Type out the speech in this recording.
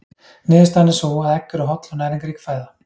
Niðurstaðan er sú að egg eru holl og næringarrík fæða.